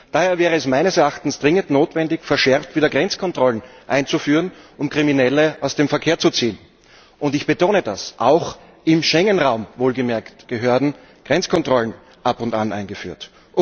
Daher wäre es meines Erachtens dringend notwendig, verschärft wieder Grenzkontrollen einzuführen, um Kriminelle aus dem Verkehr zu ziehen. Ich betone das Auch im Schengen Raum wohlgemerkt gehören Grenzkontrollen ab und an eingeführt.